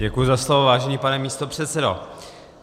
Děkuji za slovo, vážený pane místopředsedo.